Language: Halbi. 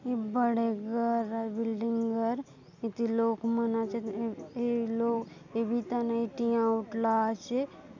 ये बड़े घर आय बिल्डिंग घर इति लोग मन आचेत ये लोग ये बिता नई ठिया उठला आचे --